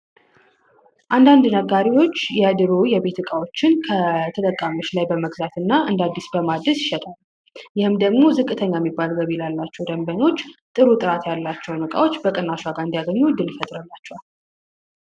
አንዳንድ ነጋሪዎች የድሩ የቤትዕቃዎችን ከተጠቃመች ላይ በመግዛት እና እንዳዲስ በማድስ ይሸጣመ ይህም ደግሞ ዝቅተኛ የሚባልገብ ይላላቸው ደንበኞች ጥሩ ጥራት ያላቸው ንቃዎች በቅናሻጋ እንዲያገኙ ድል ፈጥረላቸው፡፡